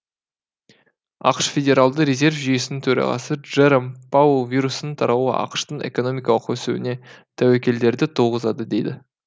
ақш федералды резерв жүйесінің төрағасы джером пауэлл вирустың таралуы ақш тың экономикалық өсуіне тәуекелдерді туғызады дейді